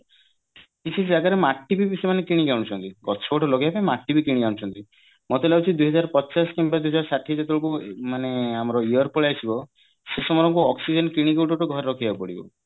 କିଛି କିଛି ଜାଗାରେ ମାଟି ବି ସେମାନେ କିଣିକି ଆଣୁଛନ୍ତି ଗଛ ଗୋଟେ ଲଗେଇବା ପାଇଁ ମାଟି ବି କିଣିକି ଆଣୁଛନ୍ତି ମତେ ଲାଗୁଛି ଦୁଇ ହଜାର ପଚାଶ କିମ୍ବା ଦୁଇ ହଜାର ଷାଠିଏ ଯେତେବେଳକୁ ମାନେ ଆମର year ପଳେଈଆସିବ ସେ ସମୟରେ ଆମକୁ oxygen କିଣିକି ଗୋଟେ ଗୋଟେ ଘରେ ରଖିବାକୁ ପଡିବ